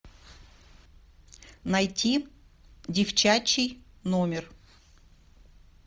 найти девчачий номер